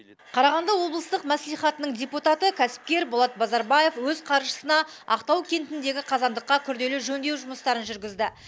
қарағанды облыстық мәслихатының депутаты кәсіпкер болат базарбаев өз қаржысына ақтау кентіндегі қазандыққа күрделі жөндеу жұмыстарын жүргізді